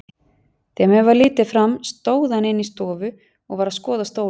Þegar mér varð litið fram stóð hann inni í stofu og var að skoða stólinn.